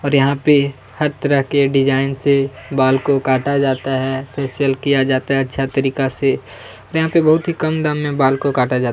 और यहाँ पे हर तरह के डिजाइन से बाल को काटा जाता है फ़ेशियल किया जाता है अच्छा तरीका से और यहाँ पे बहुत ही कम दाम में बाल को काटा जाता हैं।